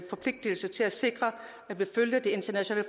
forpligtelse til at sikre at vi følger de internationale